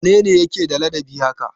Wane ne yake da ladabi haka?